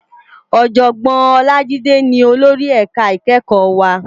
Òjògbòn Olajide ni ólóri èká ikèékò wá